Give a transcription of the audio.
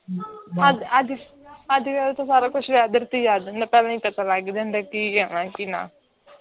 ਅੱਜ ਅੱਜ ਅੱਜ ਕੱਲ ਤਾਂ ਕੁੱਝ whether ਅੱਜ ਕੀ ਹੋਣੈ ਤੇ ਕੀ ਨਾ ਹੈ